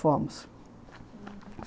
Fomos. Aham.